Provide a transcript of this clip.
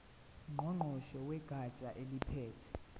ngqongqoshe wegatsha eliphethe